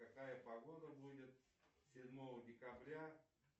какая погода будет седьмого декабря